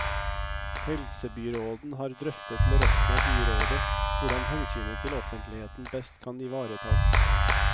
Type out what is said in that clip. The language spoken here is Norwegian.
Helsebyråden har drøftet med resten av byrådet hvordan hensynet til offentligheten best kan ivaretas.